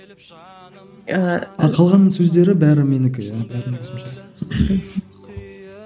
ыыы қалғанының сөздері бәрі менікі иә